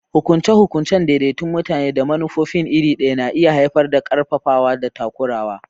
Hukunce-hukuncen daidaikun mutane da manufofin iri ɗaya na iya haifar da ƙarfafawa da takurawa.